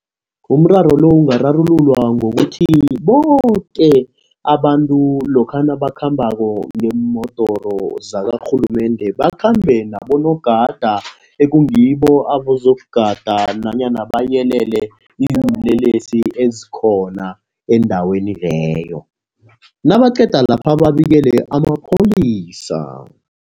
Umraro lo ungararululwa ngokuthi boke abantu lokha nabakhambako ngeemodoro zakarhulumende bakhambe nabonogada ekungibo abazokugada nanyana bayelele iinlelesi ezikhona endaweni leyo. Nabaqeda lapha babikele amapholisa.